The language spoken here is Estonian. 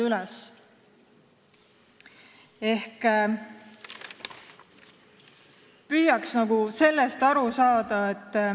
Sellest võiks püüda aru saada.